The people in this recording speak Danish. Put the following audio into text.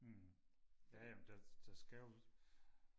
ja ja der skal jo